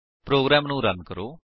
programme ਨੂੰ run ਕਰੋ